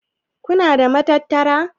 Kuna da matattara?